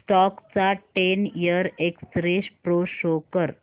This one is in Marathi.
स्टॉक चा ten year x ray pro show कर